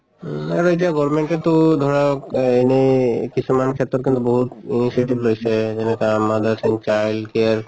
উম আৰু এতিয়া গৰ্মেন্তে টো ধৰক অ এনে কিছুমান ক্ষেত্ৰত কিন্তু বহুত initiative লৈছে যেনেকা mothers and child care